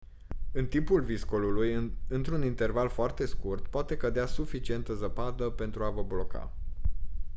în timpul viscolului într-un interval foarte scurt poate cădea suficientă zăpadă pentru a vă bloca